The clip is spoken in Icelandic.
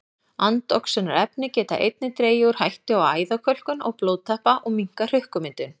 Andoxunarefni geta einnig dregið úr hættu á æðakölkun og blóðtappa og minnkað hrukkumyndun.